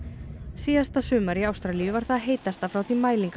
síðasta sumar í Ástralíu var það heitasta frá því mælingar